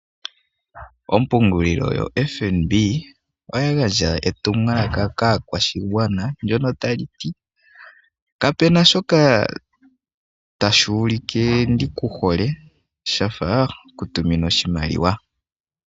Ompungulilo yaFNB oya gandja etumwalaka kaakwashigwana. Ndyono ta li ti: kapena shoka tashi ulike ndikuhole shafa okutuminwa oshimaliwa.